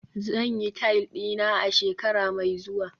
zan yi tile dina a shekara mai zuwa